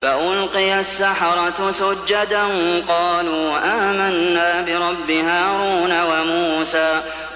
فَأُلْقِيَ السَّحَرَةُ سُجَّدًا قَالُوا آمَنَّا بِرَبِّ هَارُونَ وَمُوسَىٰ